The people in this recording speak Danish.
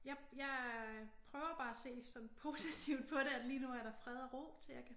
Jeg jeg prøver bare at se sådan positivt på det at lige nu er der fred og ro til jeg kan